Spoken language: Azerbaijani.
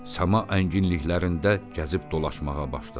Səma ənginliklərində gəzib dolaşmağa başladı.